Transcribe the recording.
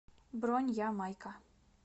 бронь я майка